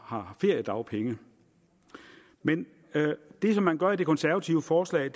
har feriedagpenge men det som man gør i det konservative forslag